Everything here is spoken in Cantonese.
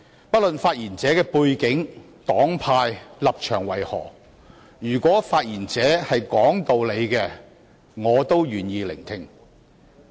不論發言者的背景、黨派和立場為何，如果他們是講道理的，我也願意聆聽。